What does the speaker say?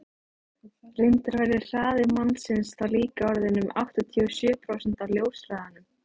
reyndar væri hraði mannsins þá líka orðinn um áttatíu og sjö prósent af ljóshraðanum